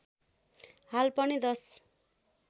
हाल पनि दश